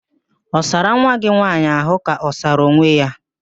Ị sara nwa gị nwaanyị ahụ ka ọ sara onwe ya?